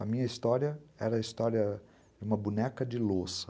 A minha história era a história de uma boneca de louça.